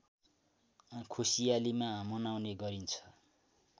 खुसीयालीमा मनाउने गरिन्छ